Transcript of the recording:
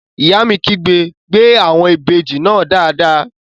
Ìyá mi kígbe "gbé àwọn ìbejì náà dáadáa!"